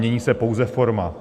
Mění se pouze forma.